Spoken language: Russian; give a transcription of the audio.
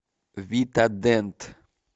витадент